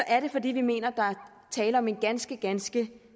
er det fordi vi mener der er tale om en ganske ganske